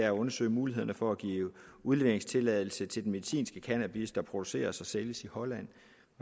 at undersøge mulighederne for at give udleveringstilladelse til den medicinske cannabis der produceres og sælges i holland